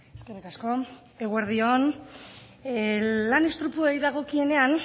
eskerrik asko eguerdi on lan istripuei dagokienean